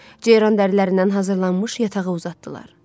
Ceyran dərilərindən hazırlanmış yatağa uzatdılar.